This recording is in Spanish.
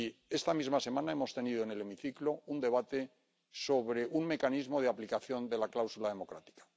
Esta misma semana hemos tenido en el hemiciclo un debate sobre un mecanismo de aplicación de la cláusula democrática.